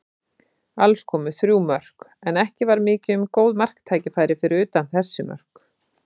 Alls komu þrjú mörk, en ekki var mikið um góð marktækifæri fyrir utan þessi mörk.